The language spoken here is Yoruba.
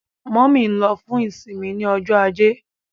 Mummy nlo fún isinmi ní Ọjọ́ Ajé.